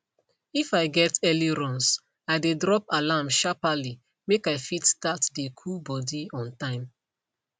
if i get early runs i dey drop alarm sharperly make i fit start dey cool body on time